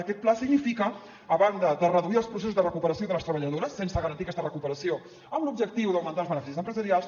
aquest pla significa a banda de reduir els processos de recuperació de les treballadores sense garantir aquesta recuperació amb l’objectiu d’augmentar els beneficis empresarials